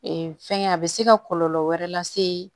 fɛnkɛ a bɛ se ka kɔlɔlɔ wɛrɛ lase